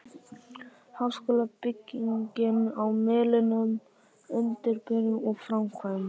Háskólabyggingin á Melunum- undirbúningur og framkvæmdir